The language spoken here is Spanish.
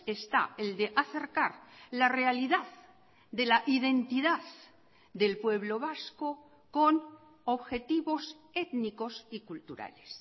está el de acercar la realidad de la identidad del pueblo vasco con objetivos étnicos y culturales